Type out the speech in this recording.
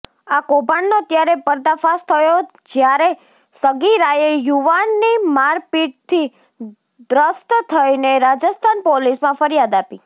આ કૌભાંડનો ત્યારે પર્દાફાશ થયો જ્યારે સગીરાએ યુવાનની મારપીટથી ત્રસ્ત થઈને રાજસ્થાન પોલીસમાં ફરિયાદ આપી